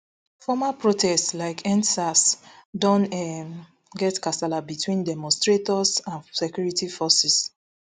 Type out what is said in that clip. former protests like endsars don um get kasla between demonstrators and security forces